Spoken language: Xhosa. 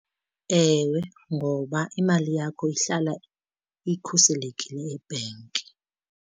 Ewe ngoba imali yakho ihlala ikhuselekile ebhenki.